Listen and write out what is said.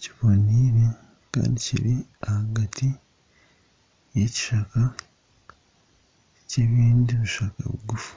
kibonaire kandi kiri ahagati y'ekishaka ky'ebindi bishaka biguufu.